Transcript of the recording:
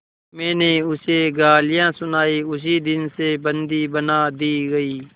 मैंने उसे गालियाँ सुनाई उसी दिन से बंदी बना दी गई